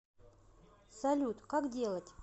салют как делать